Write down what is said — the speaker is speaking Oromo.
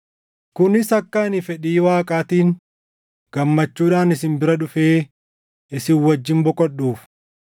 kunis akka ani fedhii Waaqaatiin, gammachuudhaan isin bira dhufee isin wajjin boqodhuuf.